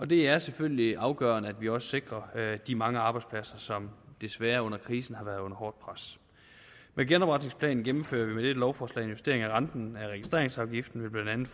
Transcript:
det er selvfølgelig afgørende at vi også sikrer de mange arbejdspladser som desværre under krisen har været under hårdt pres med genopretningsplanen gennemfører vi med dette lovforslag en justering af renten af registreringsafgiften ved blandt